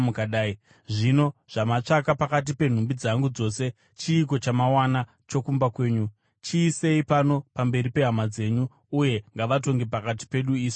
Zvino zvamatsvaka pakati penhumbi dzangu dzose, chiiko chamawana chokumba kwenyu? Chiisei pano pamberi pehama dzenyu, uye ngavatonge pakati pedu isu vaviri.